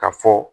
Ka fɔ